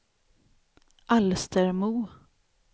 Alstermo